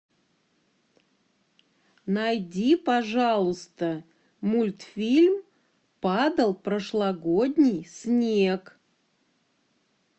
найди пожалуйста мультфильм падал прошлогодний снег